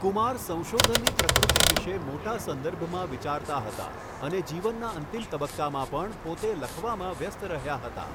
કુમાર સંશોધનની પ્રકૃતિ વિશે મોટા સંદર્ભમાં વિચારતા હતા અને જીવનના અંતિમ તબક્કામાં પણ પોતે લખવામાં વ્યસ્ત રહ્યા હતા.